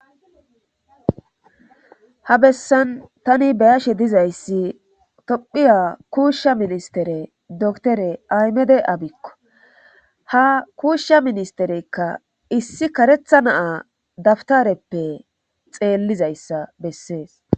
Ha bessan tani be7ashe dizayssi tophiya kuushsha ministere doktore aymede abikko ha kuushsha ministereykka issi karetha naa dabtareppe xeellizayssa bessees.